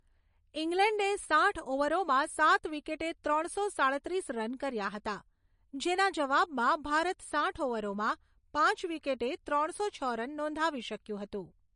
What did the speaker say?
ઇંગ્લેન્ડે સાઠ ઓવરોમાં સાત વિકેટે ત્રણસો સાડત્રીસ રન કર્યા હતા, જેના જવાબમાં ભારત સાઈઠ ઓવરોમાં પાંચ વિકેટે ત્રણસો છ રન નોંધાવી શક્યું હતું.